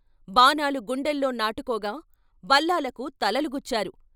బాణాలు గుండెల్లో నాటుకోగా బల్లాలకు తలలు గుచ్చారు.